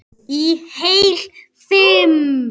Í heil fimm